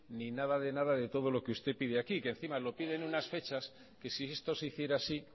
ni nada de nada de todo lo que usted pide aquí que encima lo pide en unas fechas que si esto se hiciera así